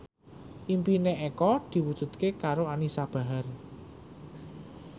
impine Eko diwujudke karo Anisa Bahar